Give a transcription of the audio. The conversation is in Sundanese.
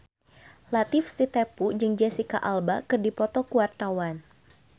Latief Sitepu jeung Jesicca Alba keur dipoto ku wartawan